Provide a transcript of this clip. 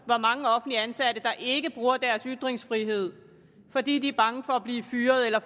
hvor mange offentligt ansatte der ikke bruger deres ytringsfrihed fordi de er bange for at blive fyret eller